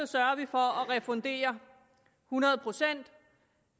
sørge for at refundere hundrede procent